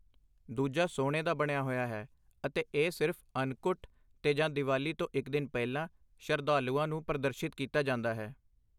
ਦੂਜਾ ਸੋਨੇ ਦਾ ਬਣਿਆ ਹੋਇਆ ਹੈ ਅਤੇ ਇਹ ਸਿਰਫ਼ ਅੰਨਕੁਟ 'ਤੇ ਜਾਂ ਦੀਵਾਲੀ ਤੋਂ ਇਕ ਦਿਨ ਪਹਿਲਾਂ ਸ਼ਰਧਾਲੂਆਂ ਨੂੰ ਪ੍ਰਦਰਸ਼ਿਤ ਕੀਤਾ ਜਾਂਦਾ ਹੈ।